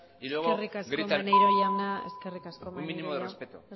y luego gritan eskerrik asko maneiro jauna eskerrik asko maneiro jauna un mínimo de respeto